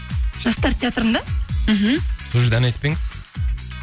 жастар театрында мхм сол жерде ән айтып па едіңіз